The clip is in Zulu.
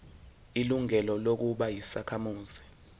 ilungelo lokuba yisakhamuzi